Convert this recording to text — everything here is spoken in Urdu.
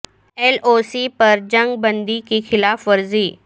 ایل او سی پر جنگ بندی کی خلاف ورزی